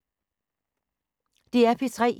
DR P3